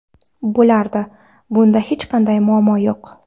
Bo‘lardi, bunda hech qanday muammo yo‘q.